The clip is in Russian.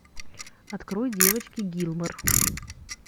открой девочки гилмор